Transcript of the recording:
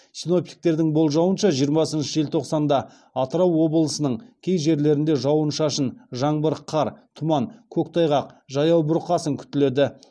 синоптиктердің болжауынша жиырмасыншы желтоқсанда атырау облысының кей жерлерінде жауын шашын тұман көктайғақ жаяу бұрқасын күтіледі